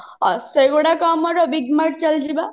ସେଇଗୁଡାକ ଆମର big mart ଚାଲିଯିବା